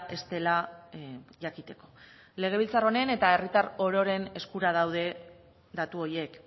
ez dela jakiteko legebiltzar honen eta herritar ororen eskura daude datu horiek